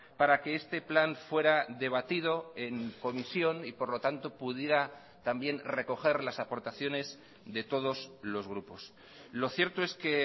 para que este plan fuera debatido en comisión y por lo tanto pudiera también recoger las aportaciones de todos los grupos lo cierto es que